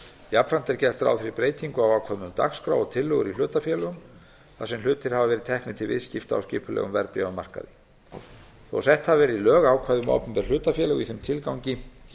jafnframt er gert ráð fyrir breytingu á ákvæðum um dagskrá og tillögur í hlutafélögum þar sem hlutir hafa verið teknir til viðskipta á skipulegum verðbréfamarkaði þó sett hafi verið í lög ákvæði um opinber hlutafélög í þeim tilgangi